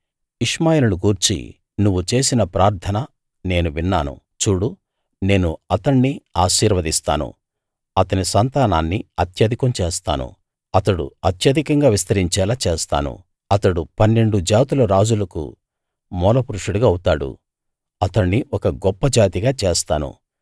ఇష్మాయేలును గూర్చి నువ్వు చేసిన ప్రార్థన నేను విన్నాను చూడు నేను అతణ్ణి ఆశీర్వదిస్తాను అతని సంతానాన్ని అత్యధికం చేస్తాను అతడు అత్యధికంగా విస్తరిచేలా చేస్తాను అతడు పన్నెండు జాతుల రాజులకు మూలపురుషుడు అవుతాడు అతణ్ణి ఒక గొప్ప జాతిగా చేస్తాను